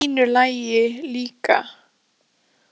Það átti að vera í fínu lagi líka.